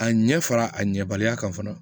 A ɲɛ fara a ɲɛbaliya kan fana